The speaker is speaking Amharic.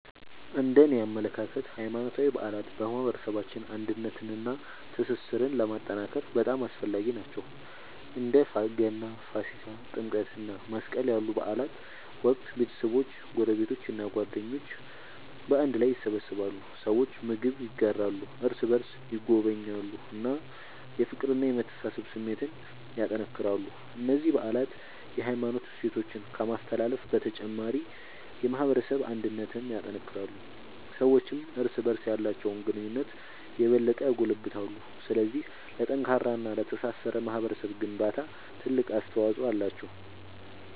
እነደኔ አመለካከት ሃይማኖታዊ በዓላት በማህበረሰባችን አንድነትንና ትስስርን ለማጠናከር በጣም አስፈላጊ ናቸው። በእንደ ገና፣ ፋሲካ፣ ጥምቀት እና መስቀል ያሉ በዓላት ወቅት ቤተሰቦች፣ ጎረቤቶች እና ጓደኞች በአንድ ላይ ይሰበሰባሉ። ሰዎች ምግብ ይጋራሉ፣ እርስ በርስ ይጎበኛሉ እና የፍቅርና የመተሳሰብ ስሜትን ያጠናክራሉ። እነዚህ በዓላት የሃይማኖት እሴቶችን ከማስተላለፍ በተጨማሪ የማህበረሰብ አንድነትን ያጠናክራሉ። ሰዎችም እርስ በርስ ያላቸውን ግንኙነት የበለጠ ያጎለብታሉ። ስለዚህ ለጠንካራና ለተሳሰረ ማህበረሰብ ግንባታ ትልቅ አስተዋጽኦ አላቸው።